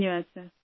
Shrisha